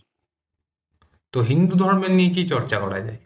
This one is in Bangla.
তো হিন্দুধর্মের নিয়ে কি চর্চা করা যায়